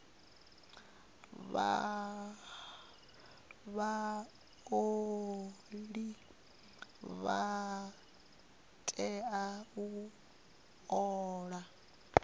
vhaoli vha tea u ola